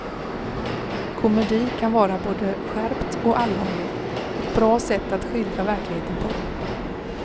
Komedi kan vara både skärpt och allvarlig, ett bra sätt att skildra verkligheten på.